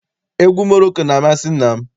Egwu Moroko na-amasị nna m.